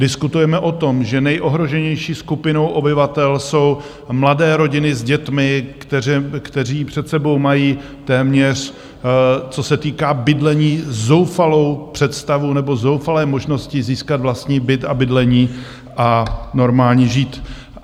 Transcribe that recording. Diskutujeme o tom, že nejohroženější skupinou obyvatel jsou mladé rodiny s dětmi, kteří před sebou mají téměř, co se týká bydlení, zoufalou představu nebo zoufalé možnosti získat vlastní byt a bydlení a normálně žít.